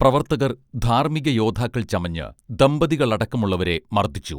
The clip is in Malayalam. പ്രവർത്തകർ ധാർമ്മിക യോദ്ധാക്കൾ ചമഞ്ഞ് ദമ്പതികളടക്കമുള്ളവരെ മർദ്ദിച്ചു